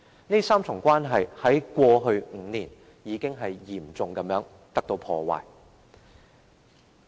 這3重關係在過去5年已經被嚴重破壞。